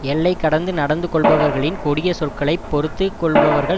எல்லை கடந்து நடந்து கொள்பவர்களின் கொடிய சொற்களை பொறுத்து கொள்பவர்கள்